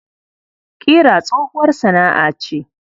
Ƙira tsohuwar sana'a ce.